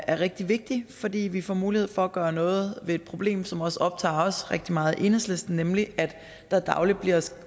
er rigtig vigtigt fordi vi får mulighed for at gøre noget ved et problem som også optager os rigtig meget i enhedslisten nemlig at der dagligt bliver